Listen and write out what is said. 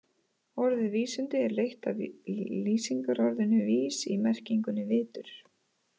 Orðið vísindi er leitt af lýsingarorðinu vís í merkingunni vitur.